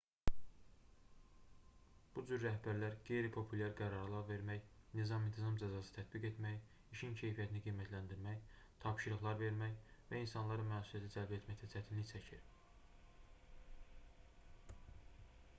bu cür rəhbərlər qeyri-populyar qərarlar vermək nizam-intizam cəzası tətbiq etmək işin keyfiyyətini qiymətləndirmək tapşırıqlar vermək və insanları məsuliyyətə cəlb etməkdə çətinlik çəkir